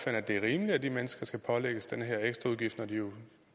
at det er rimeligt at de mennesker skal pålægges den her ekstraudgift når de jo